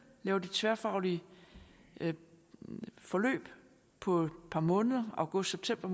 tværfaglige forløb på et par måneder august september